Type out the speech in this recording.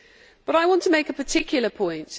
But I want to make a particular point.